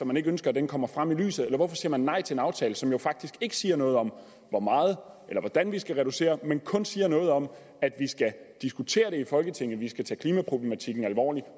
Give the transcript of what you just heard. man ikke ønsker at den kommer frem i lyset eller hvorfor siger man nej til en aftale som jo faktisk ikke siger noget om hvor meget eller hvordan vi skal reducere men kun siger noget om at vi skal diskutere det i folketinget at vi skal tage klimaproblematikken alvorligt